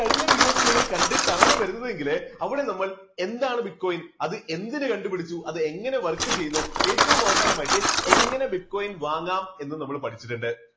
കഴിഞ്ഞ videos നിങ്ങൾ കണ്ടിട്ടാണ് വരുന്നതെങ്കില് അവിടെ നമ്മൾ എന്താണ് bitcoin അത് എന്തിന് കണ്ടുപിടിച്ചു അത് എങ്ങനെ work ചെയ്യുന്നു ഏറ്റവും അവസാനമായിട്ട് എങ്ങനെ bitcoin വാങ്ങാം എന്നും നമ്മൾ പഠിച്ചിട്ടുണ്ട്.